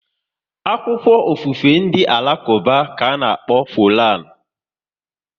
Akwụkwọ ofufe ndị Alakuba bụ Koran